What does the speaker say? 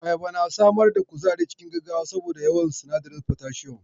Ayaba na samar da kuzari cikin gaggawa saboda yawan sinadarin potassium.